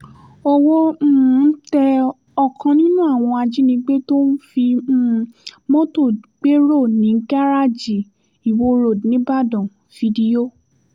owó um tẹ ọ̀kan nínú àwọn ajínigbé tó ń fi um mọ́tò gbèrò ní garaajì iwọ road nìbàdàn fídíò